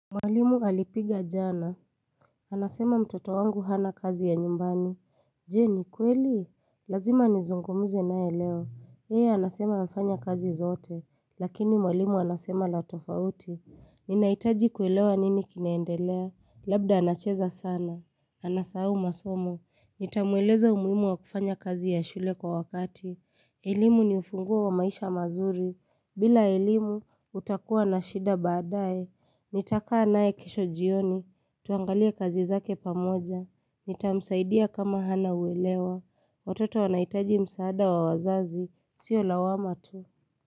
Mwalimu alipiga jana. Anasema mtoto wangu hana kazi ya nyumbani. Je, ni kweli? Lazima nizungumze naye leo. Yeye anasema amefanya kazi zote. Lakini mwalimu anasema la tofauti. Ninahitaji kuelewa nini kinaendelea. Labda anacheza sana. Anasau masomo. Nitamweleza umuhimu wa kufanya kazi ya shule kwa wakati. Elimu ni ufunguo wa maisha mazuri. Bila elimu, utakua na shida baadaye. Nitaka nae kisho jioni. Tuangalie kazi zake pamoja. Nitamsaidia kama hana uelewa. Watoto wanahitaji msaada wa wazazi. Sio lawama tu.